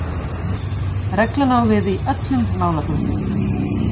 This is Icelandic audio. Reglan á við í öllum málaflokkum